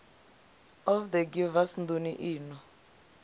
of the givers nḓuni ino